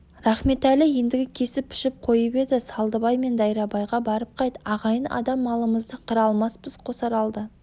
рахметәлі ендігі кесіп-пішіп қойып еді -салдыбай сен дайрабайға барып қайт ағайын адам малымызды қыра алмаспыз қосаралды